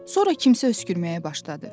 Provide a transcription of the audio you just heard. Sonra kimsə öskürməyə başladı.